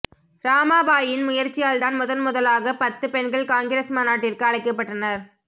இராமாபாயின் முயற்சியால்தான் முதன் முதலாகப் பத்துப் பெண்கள் காங்கிரஸ் மாநாட்டிற்கு அழைக்கப்பட்டனர்